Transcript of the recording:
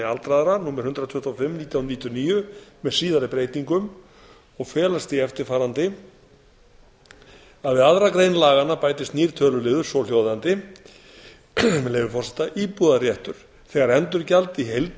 aldraðra númer hundrað tuttugu og fimm nítján hundruð níutíu og níu með síðari breytingum og felst í eftirfarandi við aðra grein laganna bætist nýr töluliður svohljóðandi með leyfi forseta íbúðarréttur þegar endurgjald í heild